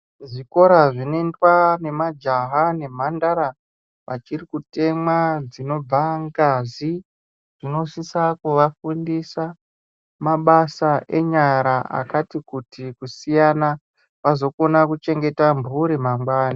Zvikora zvinoendwa nemajaha nemhandara achiri kutemwa dzinobva ngazi zvinosisa kuvafundisa mabasa enyara akati kuti kusiyana vazokona kuchengeta mhuri mangwani.